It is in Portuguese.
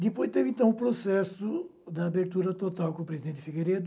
Depois teve, então, o processo da abertura total com o presidente Figueiredo,